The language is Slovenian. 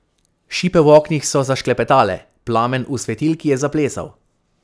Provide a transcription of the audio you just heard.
Šipe v oknih so zašklepetale, plamen v svetilki je zaplesal.